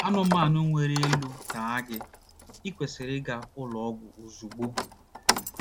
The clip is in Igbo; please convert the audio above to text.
Anụmanụ nwere elò taa gị, i kwesịrị ịga ụlọ ọgwụ ozugbo.